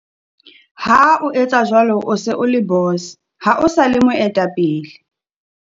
Ha o etsa jwalo, o se o le Boss, ha o sa le Moetapele.